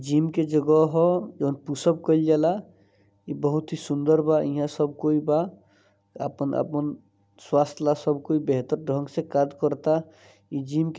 Gym के जगह ह जवन पुश अप कईल जाला। ई बहुत ही सुंदर बा ईहा सब कोई बा आपन- आपन स्वास्थ ला सब कोई बेहतर ढंग से कार्य करता। जिम के---